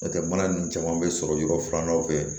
N'o tɛ mana ninnu caman bɛ sɔrɔ yɔrɔ filanan fɛ